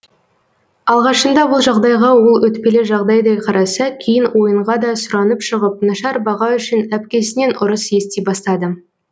алғашында бұл жағдайға ол өтпелі жағдайдай қараса кейін ойынға да сұранып шығып нашар баға үшін әпкесінен ұрыс ести бастады